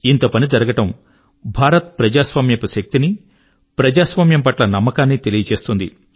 ఇంత పని జరగడము భారత్ యొక్క ప్రజాస్వామ్యపు శక్తి ని ప్రజాస్వామ్యం పట్ల నమ్మకాన్ని పరిచయం చేస్తుంది